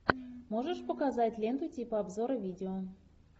можешь показать ленту типа обзора видео